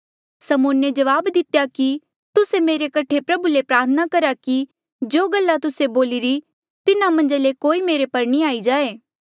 समौने जवाब दितेया कि तुस्से मेरे कठे प्रभु ले प्रार्थना करा कि जो गल्ला तुस्से बोलिरी तिन्हा मन्झा ले कोई मेरे पर नी आई जाए